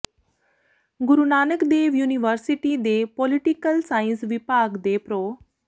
ਗੁਰੂ Nanak Dev university ਦੇ political science ਵਿਭਾਗ ਦੇ ਪ੍ਰੋ